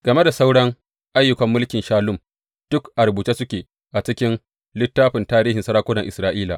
Game da sauran ayyukan mulkin Shallum, duk a rubuce suke a cikin littafin tarihin sarakunan Isra’ila.